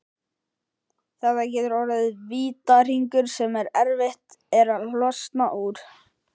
Þetta getur orðið vítahringur sem erfitt er að losna úr.